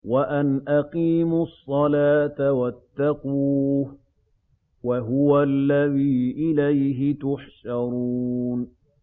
وَأَنْ أَقِيمُوا الصَّلَاةَ وَاتَّقُوهُ ۚ وَهُوَ الَّذِي إِلَيْهِ تُحْشَرُونَ